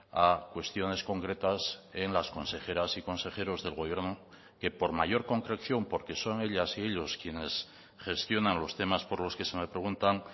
a cuestiones concretas en las consejeras y consejeros del gobierno que por mayor concreción porque son ellas y ellos quienes gestionan los temas por los que se me preguntan